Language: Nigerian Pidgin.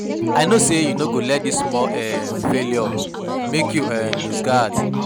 I know sey you no go let dis small um failure make you um loose guard.